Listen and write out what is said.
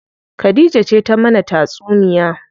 Khadija ce ta mana tatsuniya.